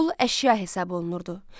Qul əşya hesab olunurdu.